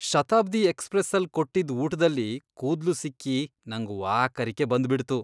ಶತಾಬ್ದಿ ಎಕ್ಸ್ಪ್ರೆಸ್ಸಲ್ ಕೊಟ್ಟಿದ್ ಊಟ್ದಲ್ಲಿ ಕೂದ್ಲು ಸಿಕ್ಕಿ ನಂಗ್ ವಾಕರಿಕೆ ಬಂದ್ಬಿಡ್ತು.